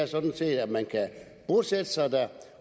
sådan set er at man kan bosætte sig der